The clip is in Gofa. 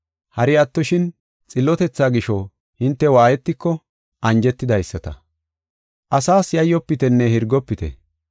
Hari attoshin, xillotetha gisho hinte waayetiko anjetidaysata. Asas yayyofitenne hirgofite.